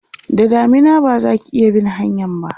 da damina bazaki iya bin hanyan ba